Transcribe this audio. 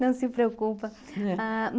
Não se preocupa. Ahn